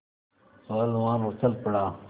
पहलवान उछल पड़ा